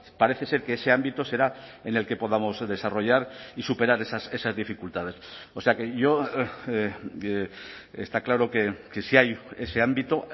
parece ser que ese ámbito será en el que podamos desarrollar y superar esas dificultades o sea que yo está claro que si hay ese ámbito